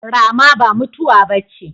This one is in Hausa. Rama ba mutuwa bace